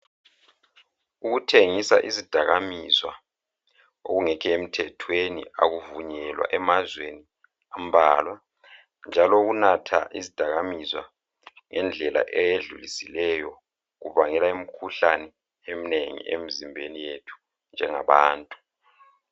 Ukuthengisa izidakamizwa okungekho emthethweni akuvunyelwa emazweni ambalwa. Njalo ukunatha izidakamizwa ngendlela eyedlulisileyo kubangela imikhuhlane eminengi emzimbeni yethu njengabantu.